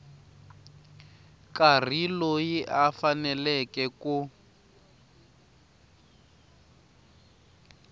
karhi loyi a faneleke ku